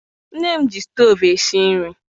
Nne m ji stovu esi nri.